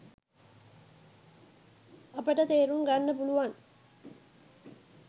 අපට තේරුම්ගන්න පුළුවන්